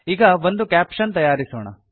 ಈಗ ಒಂದು ಕ್ಯಾಪಶನ್ ತಯಾರಿಸೋಣ